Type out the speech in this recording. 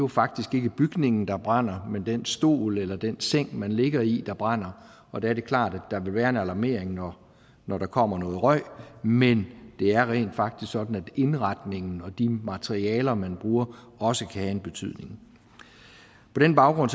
faktisk ikke bygningen der brænder men den stol eller den seng man ligger i der brænder og der er det klart at der vil være en alarmering når når der kommer noget røg men det er rent faktisk sådan at indretningen og de materialer man bruger også kan have en betydning på den baggrund